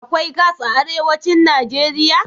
Akwai gas a arewacin Najeriya?